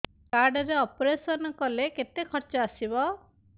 card ରେ operation କଲେ କେତେ ଖର୍ଚ ଆସିବ